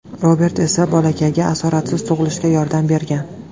Robert esa bolakayga asoratsiz tug‘ilishga yordam bergan.